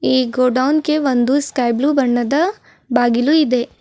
ಈ ಗೋಡೌನ್ ಗೆ ಒಂದು ಸ್ಕೈಬ್ಲೂ ಬಣ್ಣದ ಬಾಗಿಲು ಇದೆ.